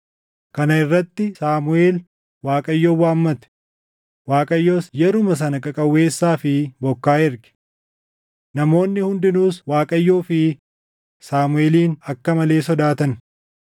Kana irratti Saamuʼeel Waaqayyoon waammate; Waaqayyos yeruma sana qaqawweessaa fi bokkaa erge. Namoonni hundinuus Waaqayyoo fi Saamuʼeelin akka malee sodaatan.